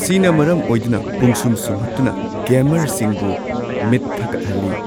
ꯁꯤꯅ ꯃꯔꯝ ꯑꯣꯏꯗꯨꯅ ꯄꯨꯡꯁꯨꯝ ꯁꯨꯝꯍꯠꯇꯨꯅ ꯒꯦꯃꯔꯁꯤꯡꯕꯨ ꯃꯤꯠ ꯊꯛꯀꯠꯍꯜꯂꯤ꯫